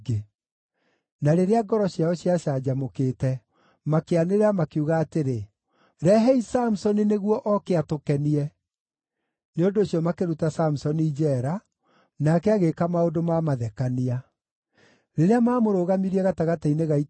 Na rĩrĩa ngoro ciao ciacanjamũkĩte, makĩanĩrĩra makiuga atĩrĩ, “Rehei Samusoni nĩguo oke atũkenie.” Nĩ ũndũ ũcio makĩruta Samusoni njeera, nake agĩĩka maũndũ ma mathekania. Rĩrĩa maamũrũgamirie gatagatĩ-inĩ ga itugĩ-rĩ,